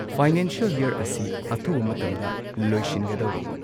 Financial year ꯑꯁꯤ ꯑꯊꯨꯕ ꯃꯇꯝꯗ ꯂꯣꯏꯁꯤꯟꯒꯗꯧꯔꯦ꯫